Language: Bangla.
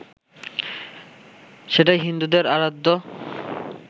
সেটাই হিন্দুদের আরাধ্য